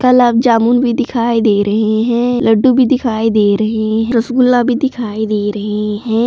गुलाब जामुन भी दिखाई दे रहे हैं लड्डू भी दिखाई दे रहे रसगुल्ला भी दिखाई दे रहे हैं।